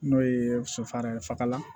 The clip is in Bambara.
N'o ye so faran ye faga la